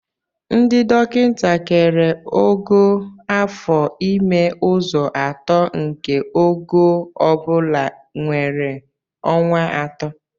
Ndị dọkịta kere ogo afo ime ụzọ atọ nke ogo ọ bụla nwere ọnwa atọ